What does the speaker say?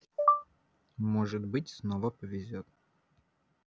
может быть снова повезёт